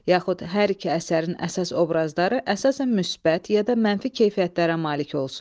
Yaxud hər iki əsərin əsas obrazları əsasən müsbət ya da mənfi keyfiyyətlərə malik olsun.